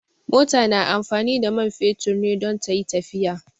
Mota na amfani da man fetur ne don tayi tafiya